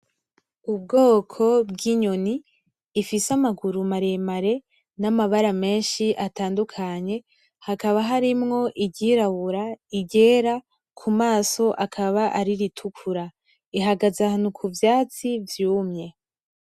Ubwoko bw'inyoni ifise amaguru maremare namabara menshi atadukanye hakaba harimwo iryirabura iryera kumaso hakaba hari iritukura, ihagaze ahantu hari ivyatsi vyumye.